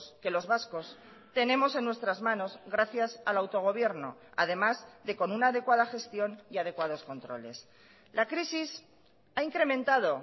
que los vascos tenemos en nuestras manos gracias al autogobierno además de con una adecuada gestión y adecuados controles la crisis ha incrementado